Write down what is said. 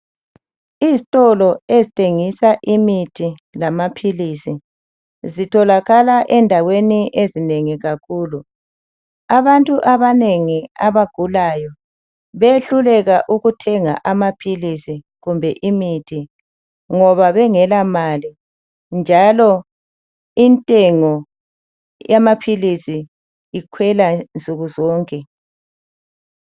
Izitolo ezithengisa imithi lamaphilisi zitholakala endaweni ezinengi kakhulu. Abantu abanengi abagulayo behluleka ukuthenga amaphilisi kumbe imithi ngoba bengela mali njalo intengo yamaphilisi ikhwela nsukuzonke.